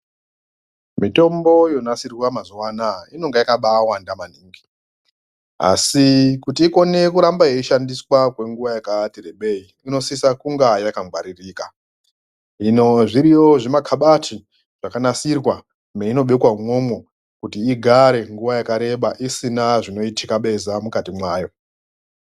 Mitombo yonasirwa mazuva anaya inonga yakabaawanda maningi, asi kuti ikone kurambe yeishandiswa kwenguva yakati rebei inosisa kunge yakangwaririka. Hino zviriyo zvimakhabati zvakanasirwa, meinobekwa umomo kuti igare nguva yakareba isina zvinoitikabeza mukati mwayo.